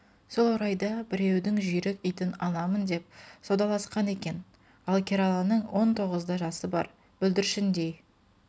сол орайда біреудің жүйрік итін аламын деп саудаласқан екен ал кераланың он тоғызда жасы бар бүлдіршіндей